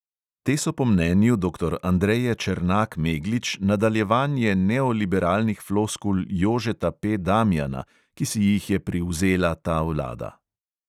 Te so po mnenju doktor andreje černak meglič nadaljevanje neoliberalnih floskul jožeta P damjana, ki si jih je privzela ta vlada.